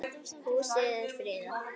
Húsið er friðað.